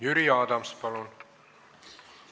Jüri Adams, palun!